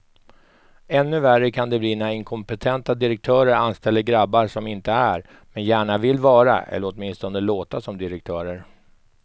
Ännu värre kan det bli när inkompetenta direktörer anställer grabbar som inte är, men gärna vill vara eller åtminstone låta som direktörer.